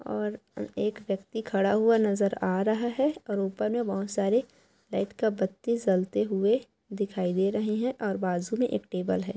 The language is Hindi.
और एक व्यक्ति खड़ा हुआ नजर आ रहा है और ऊपर में बहुत सारे लाईट का बत्ती जलते हुए दिखाई दे रहे हैं और बाजू में एक टेबल है।